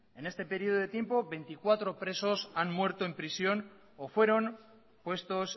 en este periodo de tiempo veinticuatro presos han muerto en prisión o fueron puestos